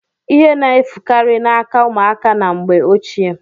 Ihe na-efukari n'aka ụmụaka na mgbe ochie.